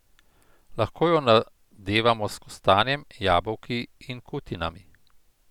Lahko jo nadevamo s kostanjem, jabolki in kutinami.